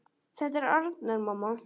Þetta er Arnar, mamma!